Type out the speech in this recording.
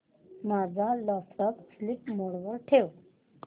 माझा laptop sleep mode वर ठेव